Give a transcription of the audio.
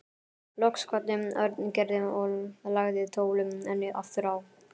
Loks kvaddi Örn Gerði og lagði tólið aftur á.